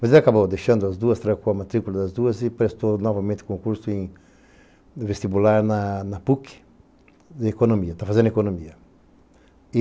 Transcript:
Mas ele acabou deixando as duas, trancou a matrícula das duas e prestou novamente concurso em vestibular na PUC de economia, está fazendo economia.